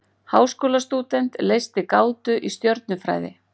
Háskólastúdent leysti gátu í stjörnufræði